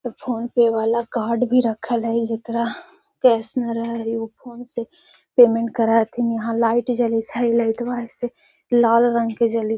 Phone पे वाला card भी रखल हई जेकरा कॅश न रहा हई उ फ़ोन से पेमेंट करा हथीन। लाइट जालित हई लाइटवा ऐसे लल लाल रंग के जालित --